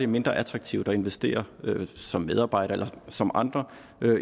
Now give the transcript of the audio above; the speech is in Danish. mindre attraktivt at investere som medarbejdere eller som andre